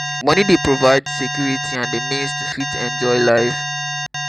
money dey provide security and the means to fit enjoy life